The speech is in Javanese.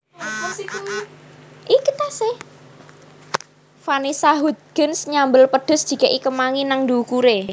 Vanessa Hudgens nyambel pedes dikek i kemangi nang dhukure